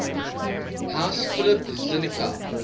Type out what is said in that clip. house philip zelikow